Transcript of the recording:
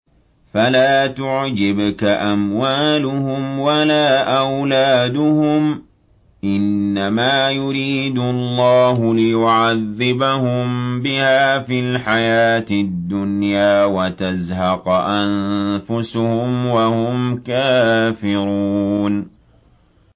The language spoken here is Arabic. فَلَا تُعْجِبْكَ أَمْوَالُهُمْ وَلَا أَوْلَادُهُمْ ۚ إِنَّمَا يُرِيدُ اللَّهُ لِيُعَذِّبَهُم بِهَا فِي الْحَيَاةِ الدُّنْيَا وَتَزْهَقَ أَنفُسُهُمْ وَهُمْ كَافِرُونَ